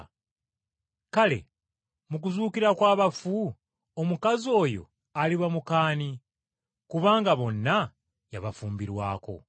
Kale, mu kuzuukira kw’abafu omukazi oyo aliba muka ani, kubanga bonna yabafumbirwako?”